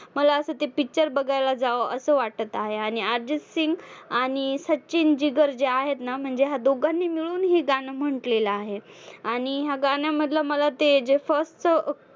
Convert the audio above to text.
मला असं ते picture बघायला जावावं असं वाटत आहे आणि अर्जितसिंग आणि सचिन जिगर्जी आहेत ना म्हणजे ह्या दोघांनी मिळून ही गाणं म्हंटलेलं आहे. आणि ह्या गाण्यामधलं मला ते जे first